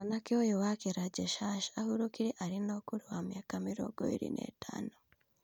Mwanake ũyũ wake Rajesh Harsh ahurũkire arĩ na ũkũrũ wa mĩaka mĩrongo ĩrĩ na ĩtano